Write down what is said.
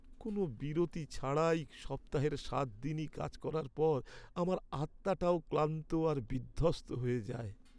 কোনও বিরতি ছাড়াই সপ্তাহের সাত দিনই কাজ করার পর আমার আত্মাটাও ক্লান্ত আর বিধ্বস্ত হয়ে যায়।